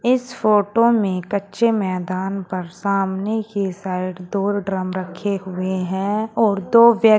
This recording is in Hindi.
इस फोटो मे कच्चे मैदान पर सामने के साइड दो ड्रम रखे हुए हैं और दो व्य--